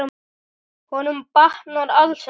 Honum batnar alls ekki.